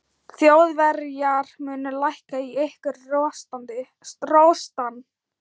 Þjóðverjar munu lækka í ykkur rostann.